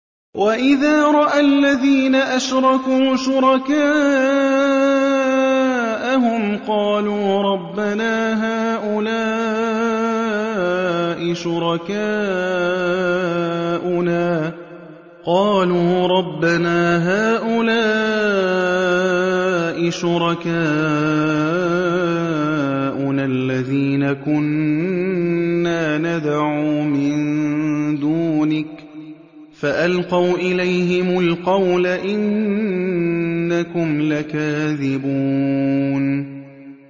وَإِذَا رَأَى الَّذِينَ أَشْرَكُوا شُرَكَاءَهُمْ قَالُوا رَبَّنَا هَٰؤُلَاءِ شُرَكَاؤُنَا الَّذِينَ كُنَّا نَدْعُو مِن دُونِكَ ۖ فَأَلْقَوْا إِلَيْهِمُ الْقَوْلَ إِنَّكُمْ لَكَاذِبُونَ